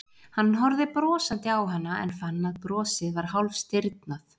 Hann horfði brosandi á hana en fann að brosið var hálfstirðnað.